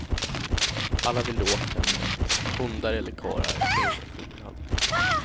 Alla vill de åt henne, hundar eller karlar gör ingen skillnad.